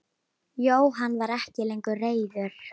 Jóhann var ekki lengur reiður.